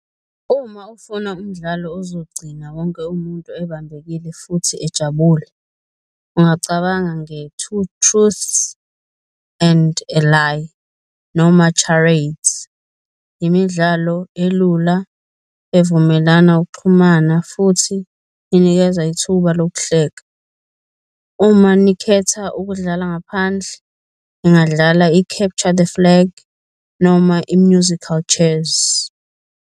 Uma ufuna umdlalo ozogcina wonke umuntu ebambekile futhi ejabule, ungacabanga nge-two truths and a lie noma charades, imidlalo elula evumelana ukuxhumana futhi inikeza ithuba lokuhleka. Uma nikhetha ukudlala ngaphandle ningadlala i-capture the flag noma i-musical chairs.